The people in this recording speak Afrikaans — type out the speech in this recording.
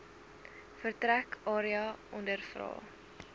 vertrek area ondervra